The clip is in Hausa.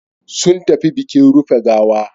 Sun tafi bikin rufe gawa.